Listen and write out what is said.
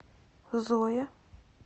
зоя